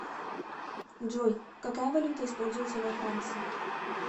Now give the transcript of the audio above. джой какая валюта используется во франции